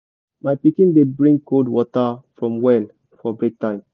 my pikin dey bring cold water from well for break time